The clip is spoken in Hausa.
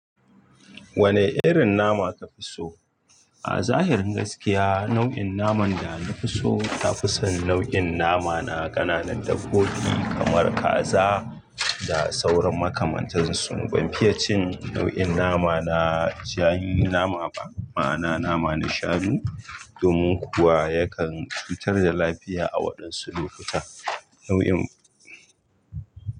Wane irin nama ka fi so? A zahirin gaskiya, nau'in naman da na fi so ta fi son nau'in nama na ƙananan dabbobi kamar kaza da sauran makamantansu. Ban fiye cin nau'in nama na janyi nama ba, ma'ana nama na shanu. Domin kuwa yakan fitar da lafiya a waɗansu lokuta. Nau'in.